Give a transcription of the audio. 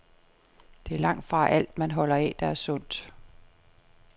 Det er langtfra alt, man holder af, der er sundt.